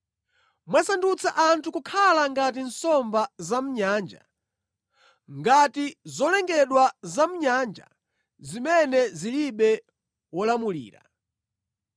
Mwasandutsa anthu kukhala ngati nsomba zamʼnyanja, ngati zolengedwa zamʼnyanja zimene zilibe wolamulira.